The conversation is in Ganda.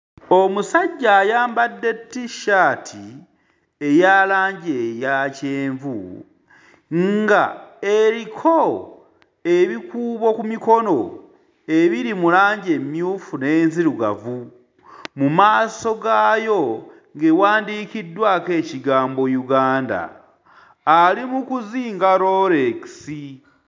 Omusajja ayambadde t-shirt eya langi eya kyenvu nga eriko ebikuubo ku mikono ebiri mu langi emmyufu n'enzirugavu, mu maaso gaayo ng'ewandiikiddwako ekigambo Uganda, ali mu kuzinga Rolex